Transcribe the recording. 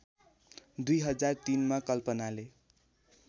२००३ मा कल्पनाले